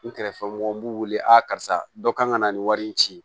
N kɛrɛfɛmɔgɔ n b'u wele a karisa dɔ kan ka na nin wari in ci